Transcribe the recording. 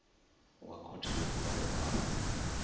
wa khothe yo bulwaho afho